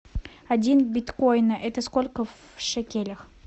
один биткоина это сколько в шекелях